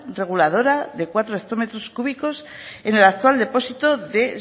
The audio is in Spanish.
reguladora de cuatro hectómetros cúbicos en el actual depósito de